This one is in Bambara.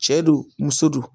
Cɛ don muso don